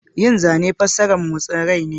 Yin zana fassarar motsin rai ne.